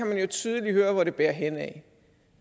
man jo tydeligt høre hvor det bærer henad